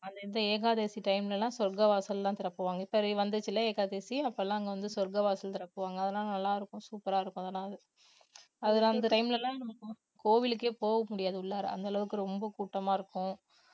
இந்த ஏகாதசி time ல எல்லாம் சொர்க்க வாசல்ல எல்லாம் திறப்புவாங்க, இப்ப வந்துதில்லே ஏகாதசி அப்ப எல்லாம் அங்க வந்து சொர்க்க வாசல் திறக்குவாங்க அதனால நல்லா இருக்கும் super ஆ இருக்கும் அதுல அந்த time ல எல்லாம் கோவிலுக்கே போக முடியாது உள்ளாற அந்த அளவுக்கு ரொம்ப கூட்டமா இருக்கும்